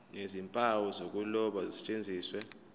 nezimpawu zokuloba zisetshenziswe